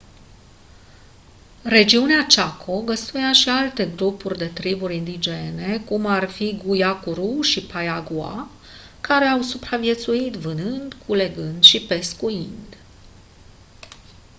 regiunea chaco găzduia și alte grupuri de triburi indigene cum ar fi guaycurú și payaguá care au supraviețuit vânând culegând și pescuind